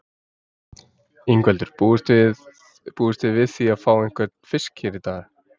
Ingveldur: Búist þið við því að fá einhvern fisk hérna í dag?